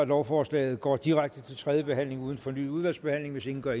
lovforslag går direkte til tredje behandling uden fornyet udvalgsbehandling hvis ingen gør